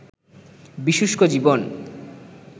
বিশুষ্ক জীবন